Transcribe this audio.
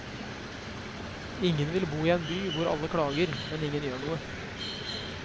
Ingen vil bo i en by hvor alle klager, men ingen gjør noe.